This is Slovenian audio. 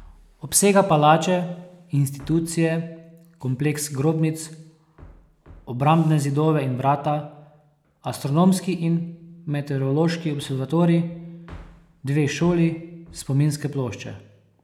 Obsega palače, institucije, kompleks grobnic, obrambne zidove in vrata, astronomski in meteorološki observatorij, dve šoli, spominske plošče.